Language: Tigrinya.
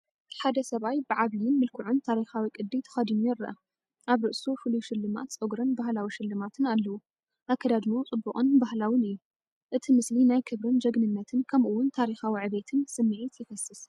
ሓደ ሰብኣይ ብዓብይን ምልኩዑን ታሪኻዊ ቅዲ ተኸዲኑ ይረአ። ኣብ ርእሱ ፍሉይ ሽልማት ጸጉርን ባህላዊ ሽልማትን ኣለዎ፤ ኣከዳድናኡ ጽቡቕን ባህላውን እዩ። እቲ ምስሊ ናይ ክብርን ጅግንነትን ከምኡ ውን ታሪኻዊ ዕቤትን ስምዒት ይፈስስ።